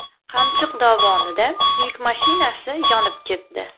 Qamchiq dovonida yuk mashinasi yonib ketdi.